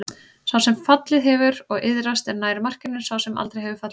Sá sem fallið hefur og iðrast er nær markinu en sá sem aldrei hefur fallið.